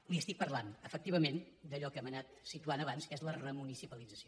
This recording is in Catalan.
li parlo efectivament d’allò que hem anat situant abans que és la remunicipalització